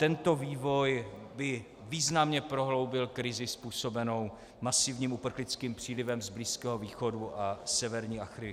Tento vývoj by významně prohloubil krizi způsobenou masivním uprchlickým přílivem z Blízkého východu a severní Afriky.